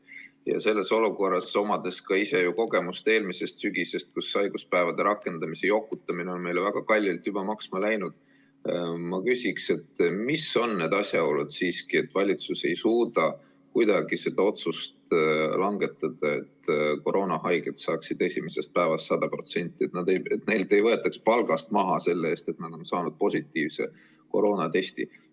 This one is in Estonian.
Ja selles olukorras, omades ka ise kogemust eelmisest sügisest, kus haiguspäevade rakendamisega jokutamine on meile väga kalliks juba maksma läinud, ma küsin, mis on ikkagi need asjaolud, et valitsus ei suuda kuidagi seda otsust langetada, et koroonahaiged saaksid esimesest päevast 100%, et neilt ei võetaks palgast maha selle eest, et nad on saanud positiivse koroonatesti.